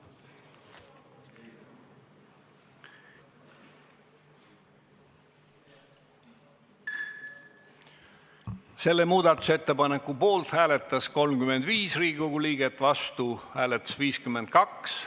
Hääletustulemused Selle muudatusettepaneku poolt hääletas 35 Riigikogu liiget, vastu 52.